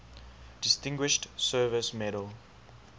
distinguished service medal